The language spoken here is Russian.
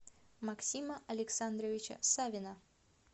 максима александровича савина